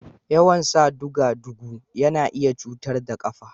Yawan san duga-dugu yana iya cutar da ƙafa